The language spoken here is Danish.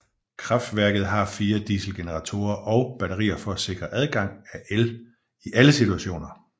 Kraftværket har fire dieselgeneratorer og batterier for at sikre tilgang af el i alle situationer